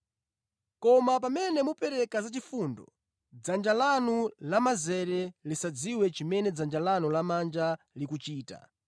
Koma pamene mupereka zachifundo, dzanja lanu lamanzere lisadziwe chimene dzanja lanu lamanja likuchita,